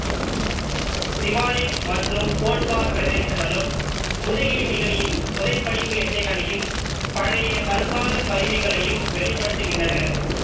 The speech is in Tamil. சிவாலிக் மற்றும் போட்வார் பிரதேசங்களும் முதுகெலும்பிகளின் புதைப் படிவு எச்சங்களையும் பழையகற்கால கருவிகளையும் வெளிப்படுத்துகின்றன